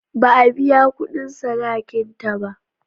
Ba a biya kudin sadakin ta ba.